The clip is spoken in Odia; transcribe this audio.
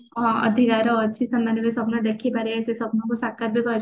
ହଁ ଅଧିକାର ଅଛି ସେମାନେ ବି ସ୍ଵପ୍ନ ଦେଖି ପାରିବେ ସେ ସ୍ଵପ୍ନ କୁ ସାକାର ବି